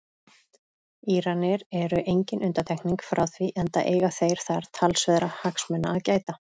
Íranar eru engin undantekning frá því enda eiga þeir þar talsverðra hagsmuna að gæta.